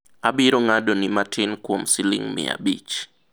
abiro ng'ado ni matin, kuom siling' miya abich